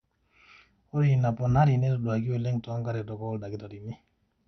ore ina ponarri netaduaki oleng toonkaretok ooldakitarini